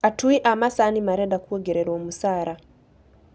Atui a macani marenda kuongererwo mũcaara